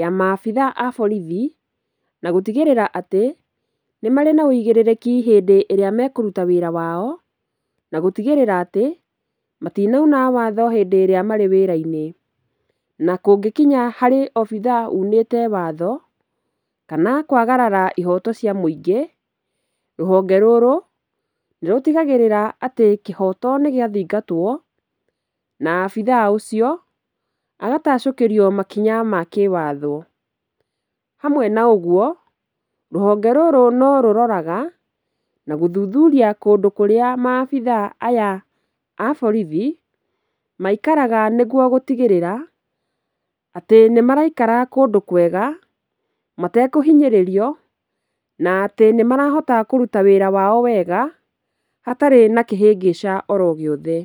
ya ma abithaa a borithi, na gũtigĩrĩra atĩ, nĩmarĩ na ũigĩrĩrĩki hĩndĩ ĩrĩa mekũruta wĩra wao, na gũtigĩrĩra atĩ matinauna watho hĩndĩn ĩrĩa marĩ wĩra-inĩ, na kũngĩkinya harĩ obithaa unĩte watho kana kwagarara ihoto cia mũingĩ, rũhonge rũrũ nĩrũtigagĩrĩra atĩ kĩhoto nĩgĩathingatwo, na abithaa ũcio agatacũkĩrio makinya ma kĩwatho. Hamwe na ũguo, rũhonge rũrũ norũroraga na gũthuthuria kũndũ kũrĩa maabithaa aya a borithi maikaraga nĩguo gũtigĩrĩra atĩ nĩmaraikara kũndũ kwega matekũhinyĩrĩrio na atĩ nĩmarahota kũruta wĩra wao wega hatarĩ na kĩhĩngĩca oro ogĩothe.